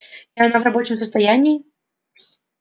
и она в рабочем состоянии